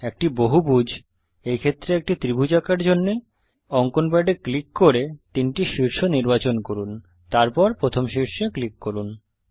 একটি বহুভুজ এই ক্ষেত্রে একটি ত্রিভুজ আঁকার জন্যে অঙ্কন প্যাডে ক্লিক করে তিনটি শীর্ষ নির্বাচন করুন তারপর প্রথম শীর্ষে ক্লিক করুন